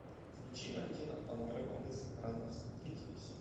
включи валентина пономарева мы странно встретились